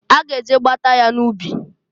A ga eje gbata ya n'ubi.